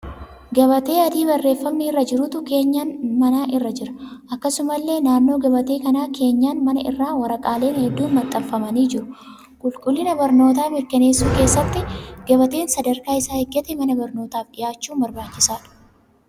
Gabatee adii barreeffamni irra jirutu keenyan manaa irra jira. Akkasumallee naannoo gabatee kanaa keenyaan manaa irra waraqaaleen hedduun maxxanfamanii jiru. Qulqullina barnootaa mirkaneessuu keessatti gabateen sadarkaa isaa eeggatee mana barnootaaf dhiyaachuun barbaachisaadha.